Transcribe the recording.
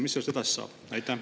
Mis sellest edasi saab?